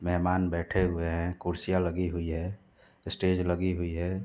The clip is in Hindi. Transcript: मेहमान बैठे हुए हैं। कुर्सियाँ लगी हुई है । स्टेज लगी हुई है।